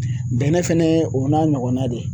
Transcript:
Bɛnɛ fɛnɛ o n'a ɲɔgɔnna de